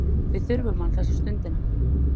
Við þurfum hann þessa stundina.